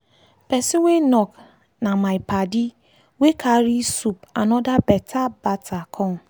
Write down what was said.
person wey knock na my padi wey carry soup and other beta bata come.